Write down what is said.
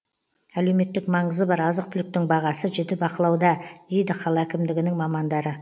әлеуметтік маңызы бар азық түліктің бағасы жіті бақылауда дейді қала әкімдігінің мамандары